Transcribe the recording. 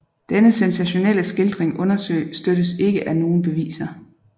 Denne sensationelle skildring understøttes ikke af nogen beviser